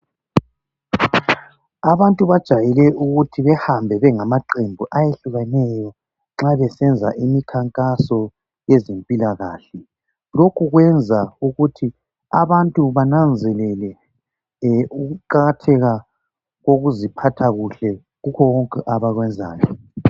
Abantu bajayele ukuthi behambe bengamaqembu ayehlukeneyo nxa besenza imikhankaso yezempilakahle lokhu kwenza ukuthi abantu bananzelele ukuqakatheka kokuziphatha kuhle kukhona konke abakwenzayo